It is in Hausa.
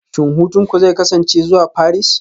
Shin hutunku zai kasance zuwa Paris?